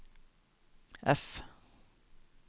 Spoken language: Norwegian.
F